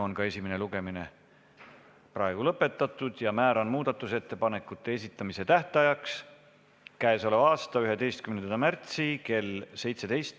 Esimene lugemine on lõpetatud ja määran muudatusettepanekute esitamise tähtajaks k.a 11. märtsi kell 17.